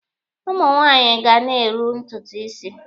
Ụmụ nwaanyị ga na-eru ntutu isi.